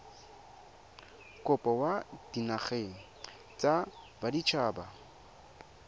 kopo kwa dinageng tsa baditshaba